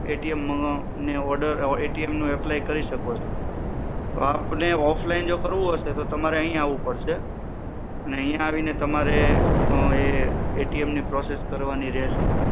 નો order apply કરી શકો છો તો આપને જો offline કરવું હશે તો અહીંયા આવું પડશે અને અહીંયા આવીને તમારે એ, એ તે એમ ની process કરવાની રહેશે